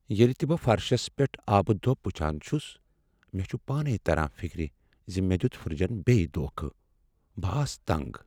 ییٚلہ تہ مےٚ فرشس پیٹھ آبہٕ دۄب وٗچھان چھٗس ، مےٚ چھ پانے تران فکر ز مےٚ دیت فرجن بیٚیہ دونٛکھٕ۔ ب آس ہٕتنٛگ۔